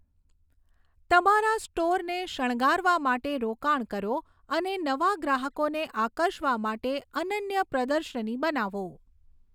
તમારા સ્ટોરને શણગારવા માટે રોકાણ કરો અને નવા ગ્રાહકોને આકર્ષવા માટે અનન્ય પ્રદર્શની બનાવો.